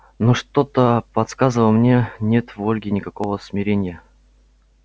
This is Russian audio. но что-то подсказывало мне нет в ольге никакого смирения